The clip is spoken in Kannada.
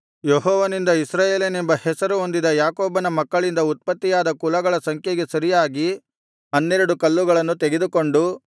ಯೆಹೋವನಿಂದ ಇಸ್ರಾಯೇಲನೆಂಬ ಹೆಸರು ಹೊಂದಿದ ಯಾಕೋಬನ ಮಕ್ಕಳಿಂದ ಉತ್ಪತ್ತಿಯಾದ ಕುಲಗಳ ಸಂಖ್ಯೆಗೆ ಸರಿಯಾಗಿ ಹನ್ನೆರಡು ಕಲ್ಲುಗಳನ್ನು ತೆಗೆದುಕೊಂಡು